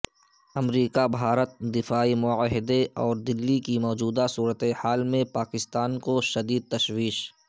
امریکا بھارت دفاعی معاہدے اور دلی کی موجود صورتحال میں پاکستان کو شدید تشویش